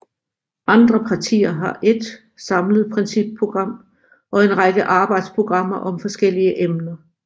Andre partier har ét samlet principprogram og en række arbejdsprogrammer om forskellige emner